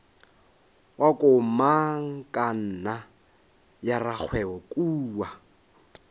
wa komangkanna ya rakgwebo kua